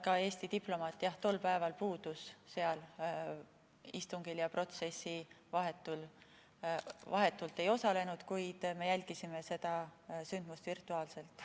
Ka Eesti diplomaat tol päeval puudus sealt istungilt ja protsessil vahetult ei osalenud, kuid me jälgisime seda sündmust virtuaalselt.